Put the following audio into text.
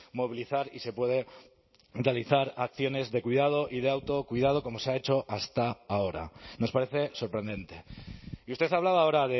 movilizar y se puede realizar acciones de cuidado y de autocuidado como se ha hecho hasta ahora nos parece sorprendente y usted hablaba ahora